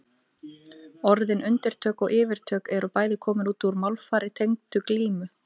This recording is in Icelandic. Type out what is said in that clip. Orðin undirtök og yfirtök eru bæði komin úr málfari tengdu glímu.